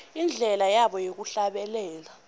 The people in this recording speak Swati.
indlela yabo yekuhlabelela